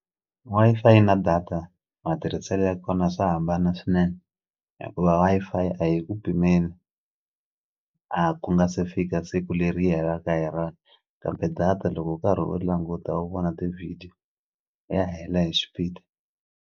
Wi-Fi na data matirhiselo ya kona swa hambana swinene hikuva Wi-Fi a yi ku pimeli a ku nga se fika siku leri yi helaka hi rona kambe data loko u karhi u languta u vona ti-video ya hela hi xipidi.